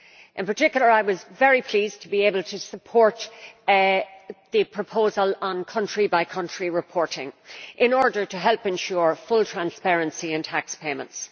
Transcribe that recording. In particular, I was very pleased to be able to support the proposal on country by country reporting in order to help ensure full transparency on tax payments.